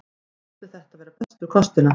Ég taldi þetta vera bestu kostina.